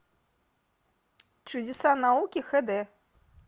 чудеса науки хэ дэ